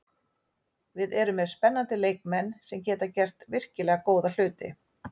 Við erum með spennandi leikmenn sem geta gert virkilega góða hluti.